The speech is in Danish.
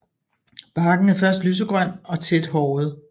Barken er først lysegrøn og tæt håret